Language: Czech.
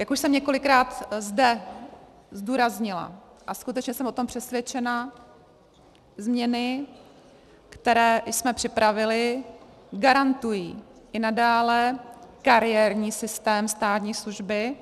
Jak už jsem několikrát zde zdůraznila, a skutečně jsem o tom přesvědčena, změny, které jsme připravili, garantují i nadále kariérní systém státní služby.